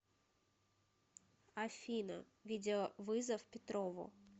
афина видеовызов петрову